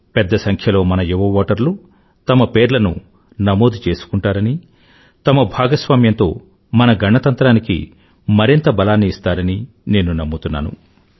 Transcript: పెద్ద సంఖ్యలో మన యువ ఓటర్లు తమ పేర్లను నమోదు చేసుకుంటారనీ తమ భాగస్వామ్యంతో మన గణతంత్రానికి మరింత బలాన్ని ఇస్తారని నేను నమ్ముతున్నాను